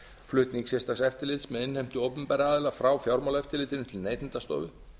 flutning sérstaks eftirlits með innheimtu opinberra aðila frá fjármálaeftirlitinu til neytendastofu